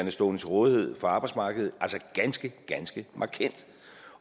at stå til rådighed på arbejdsmarkedet ganske ganske markant